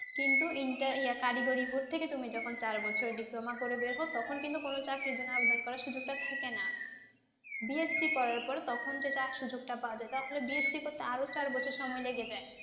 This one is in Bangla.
কিন্তু inter এই কারিগরি বোর্ড থেকে তুমি যখন চার বছর diploma করে বের হউ তখন কিন্তু কোনও চাকরির জন্য আবেদন করার সুযোগ টা থাকেনা। BSC করার পর তখন সেটা সুযোগ টা পাওয়া যায়। আসলে BSC করতে আর ও চার বছর সময় লেগে যায়।